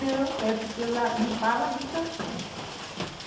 Não, é porque eu lá limpava as estações.